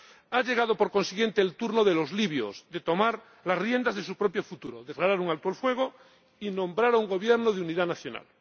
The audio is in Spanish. Ha llegado, por consiguiente, el turno de los libios deben tomar las riendas de su propio futuro, declarar un alto el fuego y nombrar un Gobierno de unidad nacional.